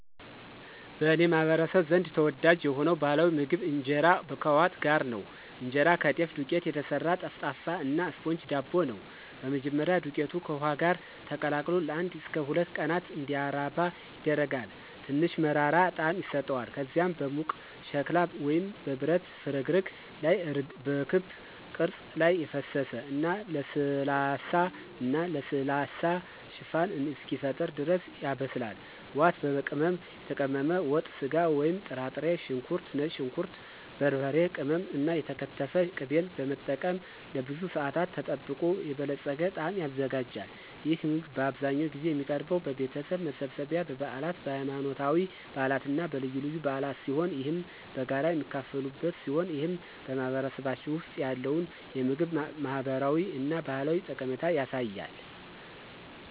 በእኔ ማህበረሰብ ዘንድ ተወዳጅ የሆነው ባህላዊ ምግብ ኢንጄራ ከዋት ጋር ነው። እንጀራ ከጤፍ ዱቄት የተሰራ ጠፍጣፋ እና ስፖንጅ ዳቦ ነው። በመጀመሪያ, ዱቄቱ ከውሃ ጋር ተቀላቅሎ ለአንድ እስከ ሁለት ቀናት እንዲራባ ይደረጋል, ትንሽ መራራ ጣዕም ይሰጠዋል. ከዚያም በሙቅ ሸክላ ወይም በብረት ፍርግርግ ላይ በክብ ቅርጽ ላይ ፈሰሰ እና ለስላሳ እና ለስላሳ ሽፋን እስኪፈጠር ድረስ ያበስላል. ዋት፣ በቅመም የተቀመመ ወጥ ስጋ ወይም ጥራጥሬ፣ ሽንኩርት፣ ነጭ ሽንኩርት፣ በርበሬ ቅመም እና የተከተፈ ቅቤን በመጠቀም ለብዙ ሰአታት ተጠብቆ የበለፀገ ጣዕም ይዘጋጃል። ይህ ምግብ አብዛኛውን ጊዜ የሚቀርበው በቤተሰብ መሰብሰቢያ፣ በበዓላት፣ በሃይማኖታዊ በዓላት እና በልዩ በዓላት ሲሆን ይህም በጋራ የሚካፈሉበት ሲሆን ይህም በማህበረሰባችን ውስጥ ያለውን የምግብ ማህበራዊ እና ባህላዊ ጠቀሜታ ያሳያል።